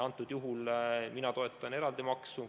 Antud juhul mina toetan eraldi maksu.